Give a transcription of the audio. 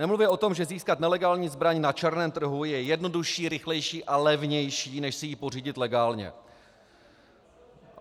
Nemluvě o tom, že získat nelegální zbraň na černém trhu je jednodušší, rychlejší a levnější než si ji pořídit legálně.